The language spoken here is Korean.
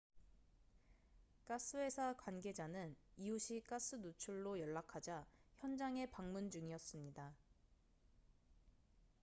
가스 회사 관계자는 이웃이 가스 누출로 연락하자 현장에 방문 중이었습니다